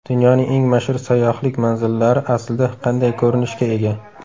Dunyoning eng mashhur sayyohlik manzillari aslida qanday ko‘rinishga ega?.